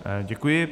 Děkuji.